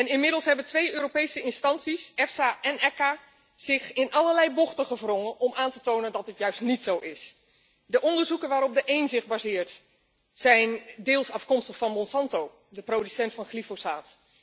Inmiddels hebben twee Europese instanties, EFSA en ECA, zich in allerlei bochten gewrongen om aan te tonen dat dit juist niet zo is. De onderzoeken waarop de één zich baseert zijn deels afkomstig van Monsanto, de producent van glyfosaat.